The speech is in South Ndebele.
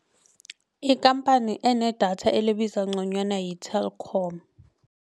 Ikhamphani enedatha elibiza ngconywana yi-Telkom.